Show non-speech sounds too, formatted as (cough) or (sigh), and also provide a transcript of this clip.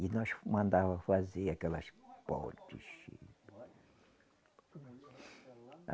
E nós mandava fazer aquelas (unintelligible)